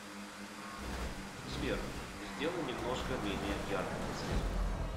сбер сделай немножко менее ярко подсветку